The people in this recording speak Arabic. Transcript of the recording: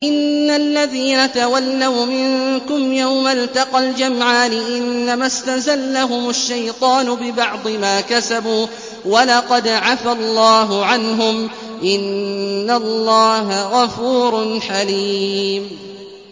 إِنَّ الَّذِينَ تَوَلَّوْا مِنكُمْ يَوْمَ الْتَقَى الْجَمْعَانِ إِنَّمَا اسْتَزَلَّهُمُ الشَّيْطَانُ بِبَعْضِ مَا كَسَبُوا ۖ وَلَقَدْ عَفَا اللَّهُ عَنْهُمْ ۗ إِنَّ اللَّهَ غَفُورٌ حَلِيمٌ